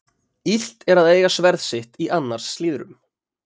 Illt er að eiga sverð sitt í annars slíðrum.